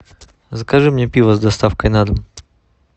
закажи мне пиво с доставкой на дом